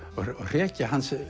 hrekja hans